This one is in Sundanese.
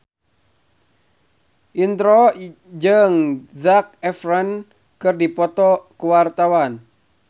Indro jeung Zac Efron keur dipoto ku wartawan